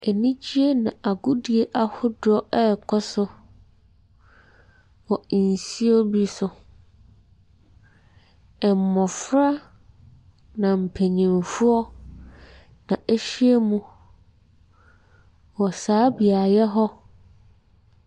Anigyeɛ na agodie ahodoɔ ɛrekɔ so wɔ nsuo bi so. Mmɔfra na mpanimfoɔ na ahyia mu wɔ saa beaeɛ hɔ.